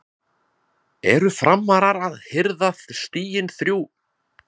ERU FRAMARAR AÐ HIRÐA STIGIN ÞRJÚ??